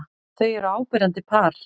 Þau eru áberandi par.